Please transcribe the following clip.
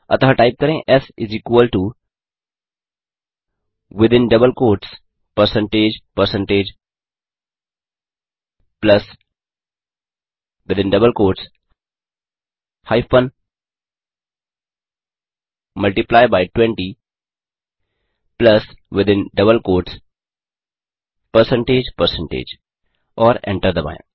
अतः टाइप करें S within double quotes percentage percentage plus within double quotes hyphen multiply by 20 plus within double quotes percentage percentage और enter दबाएँ